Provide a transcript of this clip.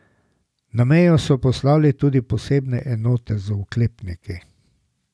Na mejo so poslali tudi posebne enote z oklepniki.